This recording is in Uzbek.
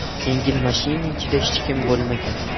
Yengil mashina ichida hech kim bo‘lmagan.